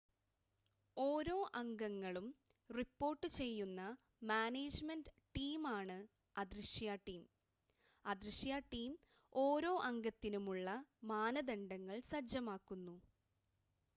ഓരോ അംഗങ്ങളും റിപ്പോർട്ട് ചെയ്യുന്ന മാനേജ്‌മെൻ്റ് ടീമാണ് അദൃശ്യ ടീം അദൃശ്യ ടീം ഓരോ അംഗത്തിനുമുള്ള മാനദണ്ഡങ്ങൾ സജ്ജമാക്കുന്നു